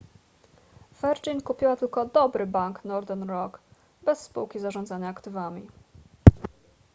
virgin kupiła tylko dobry bank northern rock bez spółki zarządzania aktywami